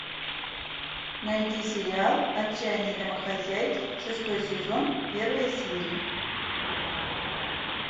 найди сериал отчаянные домохозяйки шестой сезон первая серия